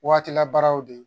Waati labaaraw de